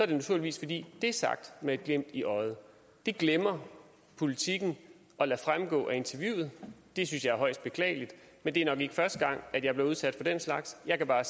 det naturligvis fordi det er sagt med et glimt i øjet det glemmer politiken at lade fremgå af interviewet det synes jeg er højst beklageligt men det er nok ikke første gang jeg bliver udsat for den slags jeg kan bare